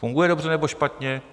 Funguje dobře, nebo špatně?